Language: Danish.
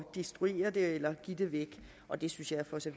destruere det eller give det væk og det synes jeg for så